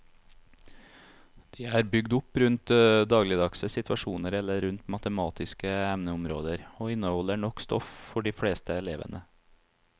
De er bygd opp rundt dagligdagse situasjoner eller rundt matematiske emneområder og inneholder nok stoff for de fleste elevene.